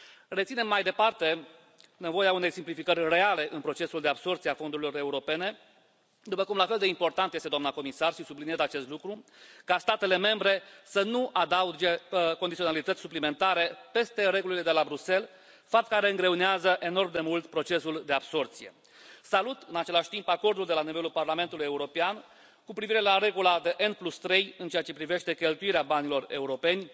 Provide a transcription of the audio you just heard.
Reținem mai departe nevoia unei simplificări reale în procesul de absorbție a fondurilor europene, după cum la fel de important este, doamnă comisar, și subliniez acest lucru, ca statele membre să nu adauge condiționalități suplimentare peste regulile de la Bruxelles, fapt care îngreunează enorm procesul de absorbție. Salut, în același timp, acordul de la nivelul Parlamentului European cu privire la regula de N3 în ceea ce privește cheltuirea banilor europeni,